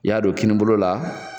I y'a don kini bolo la.